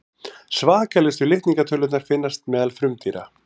svakalegustu litningatölurnar finnast meðal frumdýra